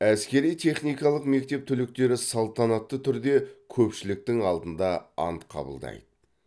әскери техникалық мектеп түлектері салтанатты түрде көпшіліктің алдында ант қабылдайды